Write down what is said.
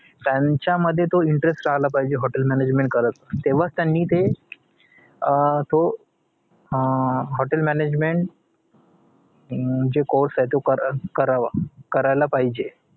त्यांच्या मध्ये तो interest आला पाहिजे hotel management करत तेव्हाच त्यांनी तो अं hotel management अं जो course ए तो कर अं करावा करायला पाहिजे